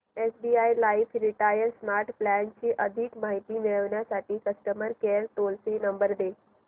SBI life retire smart plan ची अधिक माहिती मिळविण्यासाठी customer care toll free number दे